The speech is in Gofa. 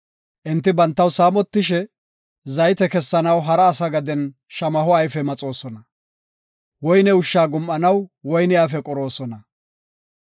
Enti bantaw saamotishe, zayte kessanaw hara asa gaden shamaho ayfe maxoosona; woyne ushsha gum7anaw woyne ayfe qoroosona.